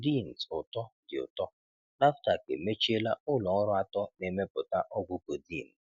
codeines ụtọ dị ụtọ: Nafdac emechiela ụlọ ọrụ atọ na-emepụta ọgwụ codeine.